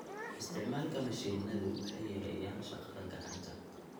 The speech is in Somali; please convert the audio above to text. Isticmaalka mashiinadu waxay yareeyaan shaqada gacanta.